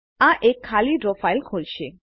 આ એક ખાલી ડ્રો ફાઈલ ખોલશે